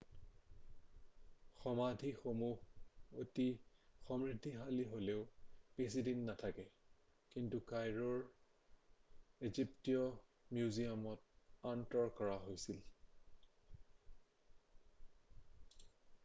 সমাধিসমূহ অতি সমৃদ্ধিশালী হ'লেও বেছি দিন নাথাকে কিন্তু কাইৰোৰ ইজিপ্টীয় মিউজিয়ামত আঁতৰ কৰা হৈছিল